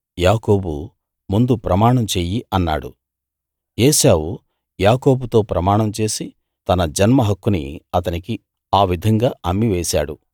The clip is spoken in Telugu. యాకోబు ముందు ప్రమాణం చెయ్యి అన్నాడు ఏశావు యాకోబుతో ప్రమాణం చేసి తన జన్మ హక్కుని అతనికి ఆ విధంగా అమ్మి వేశాడు